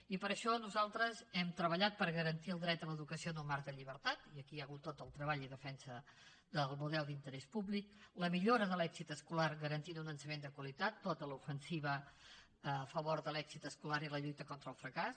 i per això nosaltres hem treballat per garantir el dret a l’educació en un marc de llibertat i aquí hi ha hagut tot el treball i defensa del model d’interès públic la millora de l’èxit escolar garantint un ensenyament de qualitat tota l’ofensiva a favor de l’èxit escolar i la lluita contra el fracàs